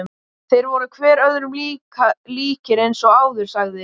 Þeir voru hver öðrum líkir eins og áður sagði.